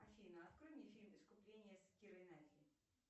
афина открой мне фильм искупление с кирой найтли